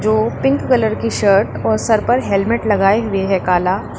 ओ pink colour की shirt और सर पर हेलमेट लगाए हुए है काला।